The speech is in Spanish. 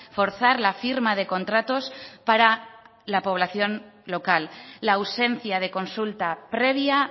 forzar la firma de contratos para la población local la ausencia de consulta previa